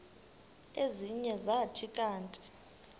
ezinye zathi kanti